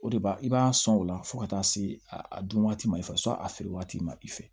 O de b'a i b'a sɔn o la fo ka taa se a dun waati ma i fɛ sɔn a feere waati ma i fɛ